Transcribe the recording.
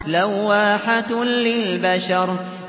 لَوَّاحَةٌ لِّلْبَشَرِ